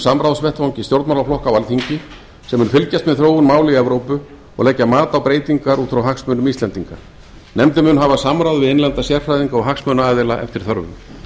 samráðsvettvangi stjórnmálaflokka á alþingi sem mun fylgjast með þróun mála í evrópu og leggja mat á breytingar út frá hagsmunum íslendinga nefndin mun hafa samráð við innlenda sérfræðinga og hagsmunaaðila eftir þörfum